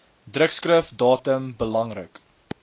drukskrif datum belangrik